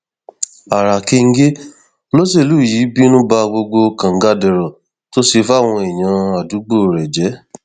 ara kẹńgẹ olóṣèlú yìí bínú ba gbogbo kàngadèrò tó ṣe fáwọn èèyàn àdúgbò rẹ jẹ